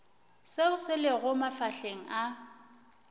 seo se lego mafahleng a